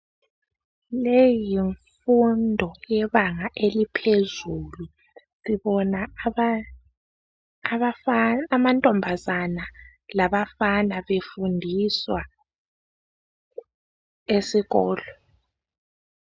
Leyi yimfundo yebanga eliphezulu sibona amantombazane labafana befundiswa esikolo.